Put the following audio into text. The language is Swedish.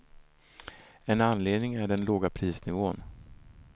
En anledning är den låga prisnivån.